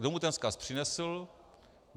Kdo mu ten vzkaz přinesl?